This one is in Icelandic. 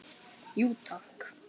Jú, takk.